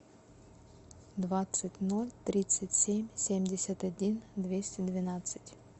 двадцать ноль тридцать семь семьдесят один двести двенадцать